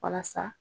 Walasa